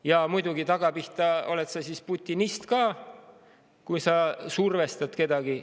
Ja muidugi, takkapihta oled sa siis putinist ka, kui sa survestad kedagi.